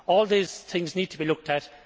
All these things need to be looked at.